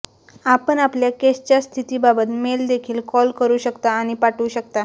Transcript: आपण आपल्या केसच्या स्थितीबाबत मेल देखील कॉल करू शकता आणि पाठवू शकता